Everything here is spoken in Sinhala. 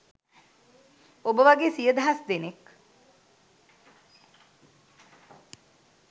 ඔබ වගේ සිය දහස් දෙනෙක්